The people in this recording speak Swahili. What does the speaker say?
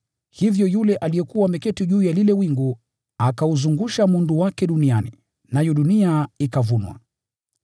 Hivyo yule aliyekuwa ameketi juu ya lile wingu akauzungusha mundu wake duniani, nayo dunia ikavunwa.